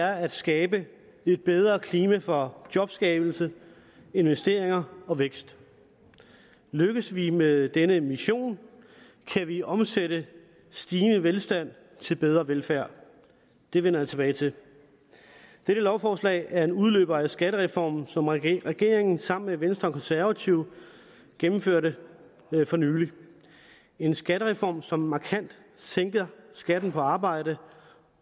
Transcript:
er at skabe et bedre klima for jobskabelse investering og vækst lykkes vi med denne mission kan vi omsætte stigende velstand til bedre velfærd det vender jeg tilbage til dette lovforslag er en udløber af skattereformen som regeringen sammen med venstre og konservative gennemførte for nylig en skattereform som markant sænker skatten på arbejde og